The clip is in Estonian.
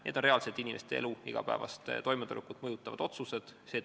Need on reaalselt inimeste igapäevast toimetulekut mõjutavad otsused.